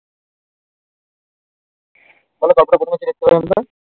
বলো গল্প তা প্রথম থেকে একদম